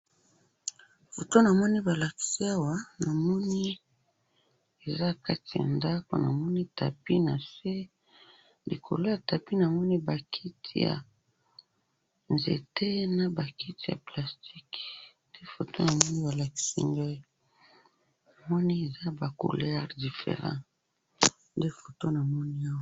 foto namoni balakisi ngayi awa namoni eza nakati ya ndaku namoni tapis nase likolo ya tapis namoni ba kiti ya nzete naba kti ya plastique ba couleur different nde foto namoni awa.